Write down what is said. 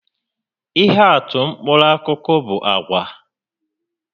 Ihe atụ mkpụrụ akụkụ bu àgwà